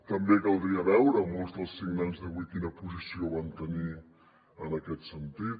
també caldria veure molts dels signants d’avui quina posició van tenir en aquest sentit